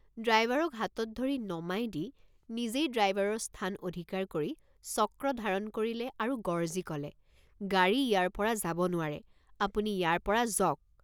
ড্ৰাইভাৰক হাতত ধৰি নমাই দি নিজেই ড্ৰাইভাৰৰ স্থান অধিকাৰ কৰি চক্ৰ ধাৰণ কৰিলে আৰু গৰ্জি কলে গাড়ী ইয়াৰপৰা যাব নোৱাৰেআপুনি ইয়াৰপৰা যক।